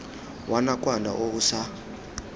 wa nakwana o o sa